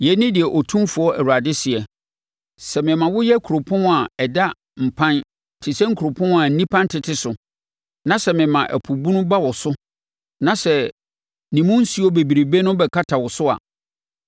“Yei ne deɛ Otumfoɔ Awurade seɛ: Sɛ mema woyɛ kuropɔn a ada mpan te sɛ nkuropɔn a nnipa ntete so, na sɛ mema ɛpo bunu ba wo so na sɛ ne mu nsuo bebrebe no bɛkata wo so a,